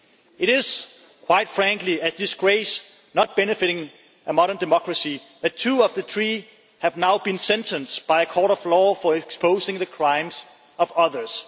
It is, quite frankly, a disgrace not befitting a modern democracy that two of the three have now been sentenced by a court of law for exposing the crimes of others.